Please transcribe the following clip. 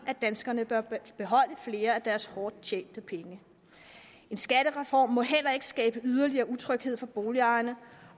at danskerne bør beholde flere af deres hårdt tjente penge en skattereform må heller ikke skabe yderligere utryghed for boligejerne